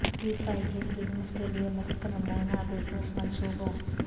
ری cycling business کے لئے مفت نمونہ بزنس منصوبوں